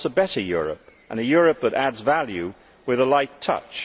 it wants a better Europe and a Europe that adds value with a light touch.